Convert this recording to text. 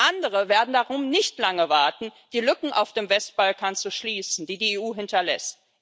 Andere werden darum nicht lange warten, die Lücken auf dem Westbalkan zu schließen, die die EU hinterlässt.